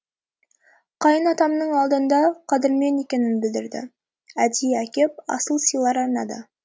қайын атамның алдында қадырмен екенін білдірді әдейі әкеп асыл сыйлар арнады